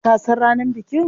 Ka san ranar bikin?